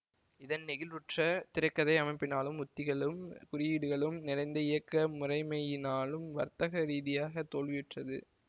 இதன் நெகிழ்வற்ற திரை கதை அமைப்பினாலும் உத்திகளும் குறியீடுகளும் நிறைந்த இயக்க முறைமையினாலும் வர்த்தக ரீதியாக தோல்வியுற்றது